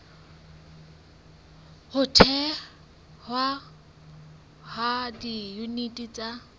ho thehwa ha diyuniti tsa